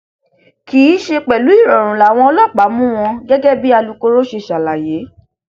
kì í ṣe pẹlú ìrọrùn làwọn ọlọpàá mú wọn gẹgẹ bí alūkkoro ṣe ṣàlàyé